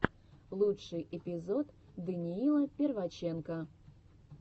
лучший эпизод даниила перваченко